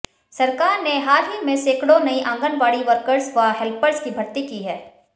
सरकार ने हाल ही में सैकड़ों नई आंगनवाड़ी वर्कर्स व हैल्पर्स की भर्ती की है